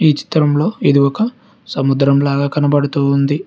ఈ చిత్రంలో ఇది ఒక సముద్రం లాగా కనబడుతూ ఉంది.